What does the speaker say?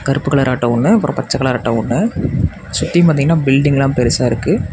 கருப்பு colour auto ஒன்னு அப்றம் பச்ச கலர் ஆட்டோ ஒன்னு சுத்தியு பாத்தீங்கனா பில்டிங்லாம் பெருசா இருக்கு.